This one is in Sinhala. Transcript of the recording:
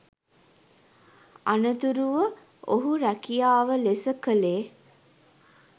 අනතුරුව ඔහු රැකියාව ලෙස කළේ